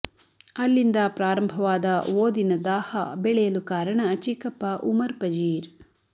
ಅಲ್ಲಿಂದ ಪ್ರಾರಂಭವಾದ ಓದಿನ ದಾಹ ಬೆಳೆಯಲು ಕಾರಣ ಚಿಕ್ಕಪ್ಪ ಉಮರ್ ಪಜೀರ್